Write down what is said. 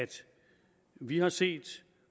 vi har set